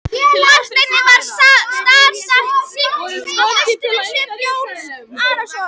Marteini varð starsýnt á festuna í svip Jóns Arasonar.